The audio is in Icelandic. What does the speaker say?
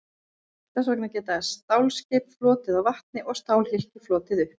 Þess vegna geta stálskip flotið á vatni og stálhylki flotið upp.